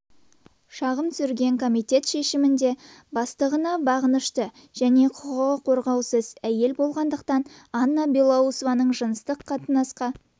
шағым түсірген комитет шешімінде бастығына бағынышты және құқығы қорғаусыз әйел болғандықтан анна белоусованың жыныстық қатынасқа